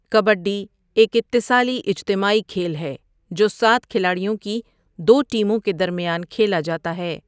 کبڈی ایک اتصالی اجتماعی کھیل ہے جو سات کھلاڑیوں کی دو ٹیموں کے درمیان کھیلا جاتا ہے۔